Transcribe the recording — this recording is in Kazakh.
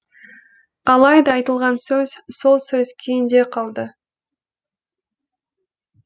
алайда айтылған сөз сол сөз күйінде қалды